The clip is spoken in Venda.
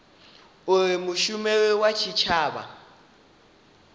uri mushumeli wa tshitshavha a